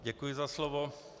Děkuji za slovo.